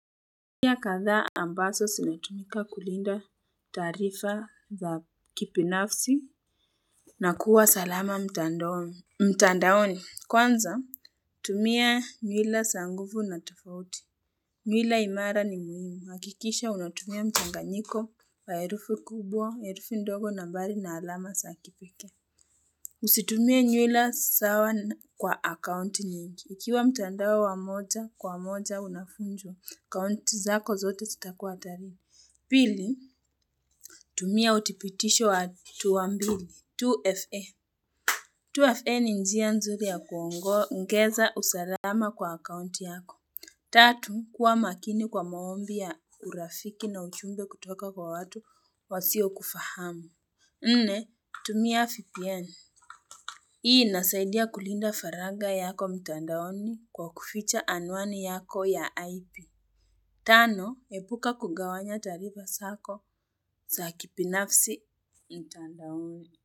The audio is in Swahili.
Tumia katha ambazo zinatumika kulinda taarifa za kibinafsi na kuwa salama mtandaoni, mtandaoni kwanza tumia nyila za nguvu na tofauti. Nyuila imara ni muhimu hakikisha unatumia mchanganyiko wa herufi kubwa, herufu ndogo, nambari na alama za kipekee. Usitumia nyuila sawa kwa akaunti nyingi. Ikiwa mtandao wa moja kwa moja unafunjo. Kaunti zako zote zitakua tari. Pili, tumia utipitisho wa tuambili. 2FA. 2FA ni njia nzuri ya kuongo ngeza usalama kwa akaunti yako. Tatu, kuwa makini kwa maombi ya urafiki na uchumbe kutoka kwa watu wasio kufahamu. Nne, tumia VPN. Hii nasaidia kulinda faraga yako mtandaoni kwa kuficha anwani yako ya IP. Tano, epuka kugawanya tarifa zako za kibinafsi mtandaoni.